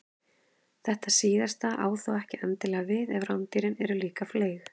þetta síðasta á þó ekki endilega við ef rándýrin eru líka fleyg